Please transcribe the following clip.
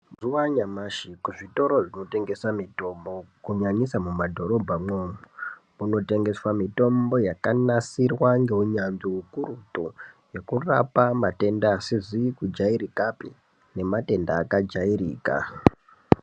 Mazuwa anyamashi kuzvitoro zvinotengesa mutombo kunyanyisa mumadhorobhamo kunotengeswa mutombo yakanasirirwa ngeunyanzvi ukurutu yekurape matenda asizi kudyairikapi nematenda akajairika .